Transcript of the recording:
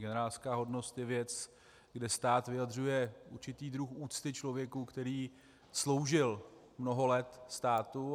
Generálská hodnost je věc, kde stát vyjadřuje určitý druh úcty člověku, který sloužil mnoho let státu.